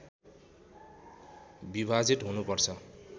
विभाजित हुनुपर्छ